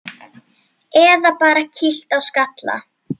Eða bara kýlt á skalla!